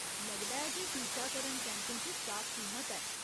लगदा ऐ जे टीकाकरण कैंपें च स्टाक सीमत ऐ।